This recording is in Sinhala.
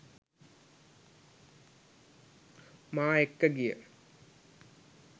මා එක්ක ගිය